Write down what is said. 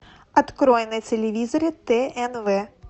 открой на телевизоре тнв